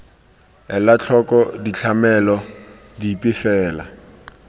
ela tlhoko ditlamelo dipe fela